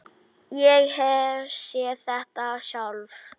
Ég hef séð þetta sjálf.